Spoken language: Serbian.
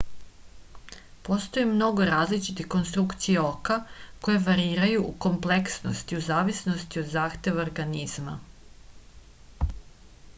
postoji mnogo različitih konstrukcija oka koje variraju u kompleksnosti u zavisnosti od zahteva organizma